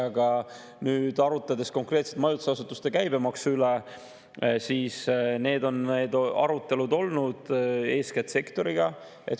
Aga arutades konkreetselt majutusasutuste käibemaksu üle, siis eeskätt sektoriga on need arutelud olnud.